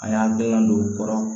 A y'an gɛlɛn don o kɔrɔ